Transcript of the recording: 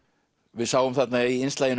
við sáum þarna í